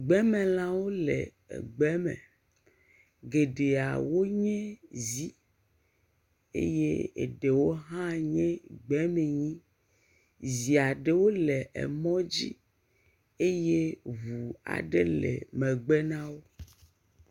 Gbemelãwo le egbe me. Geɖeawo nye zi eye eɖewo hã nye gbemenyi. Zi ɖewo le emɔ dzi eye ŋu aɖe le megbe na wo.